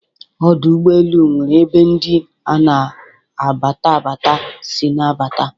Ọdọ ụgbọelu newere ebe ndi n' abatabata si abata